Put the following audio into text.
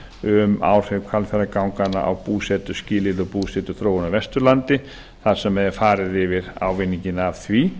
um áhrif hvalfjarðarganganna á búsetuskilyrði og búsetuþróun á vesturlandi þar sem er farið yfir ávinninginn af því